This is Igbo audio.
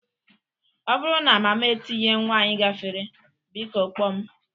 Ọ bụrụ na mama etinye nwanyị gafere, biko kpọọ m